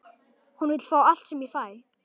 Hún vill fá allt sem ég fæ.